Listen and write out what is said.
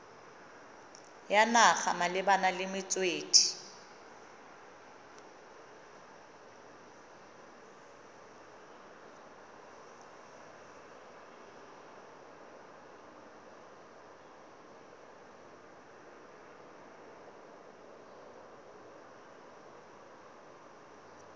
ya naga malebana le metswedi